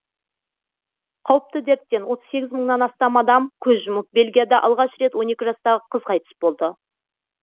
қауіпті дерттен отыз сегіз мыңнан астам адам көз жұмып бельгияда алғаш рет он екі жастағы қыз қайтыс болды